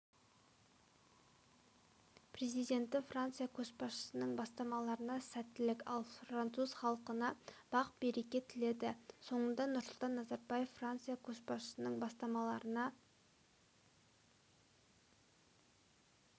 президенті франция көшбасшысының бастамаларына сәттілік ал француз халқына бақ-береке тіледі соңында нұрсұлтан назарбаев франция көшбасшысының бастамаларына